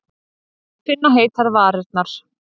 Finna heitar varirnar.